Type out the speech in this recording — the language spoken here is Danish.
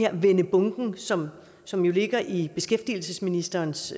at vende bunken som som jo ligger i beskæftigelsesministerens